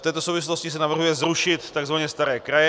V této souvislosti se navrhuje zrušit tzv. staré kraje.